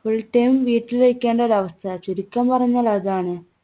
full time വീട്ടിൽ ഇരിക്കേണ്ട ഒരവസ്ഥ. ചുരുക്കം പറഞ്ഞാൽ അതാണ്.